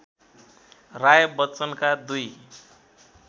राय बच्चनका दुई